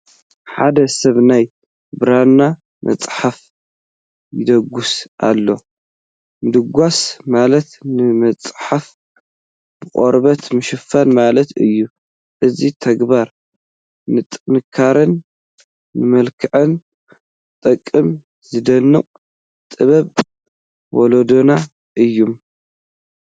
ሓደ ሰብ ናይ ብራና መፅሓፍ ይደጉስ ኣሎ፡፡ ምድጓስ ማለት ንመፅሓፍ ብቖርበት ምሽፋን ማለት እዩ፡፡ እዚ ተግባር ንጥንካረን ንመልክዕን ዝጠቅም ዝድነቕ ጥበብ ወለድና እዩ፡፡